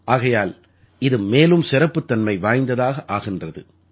ஆகையால் இது மேலும் சிறப்புத்தன்மை வாய்ந்தததாக ஆகின்றது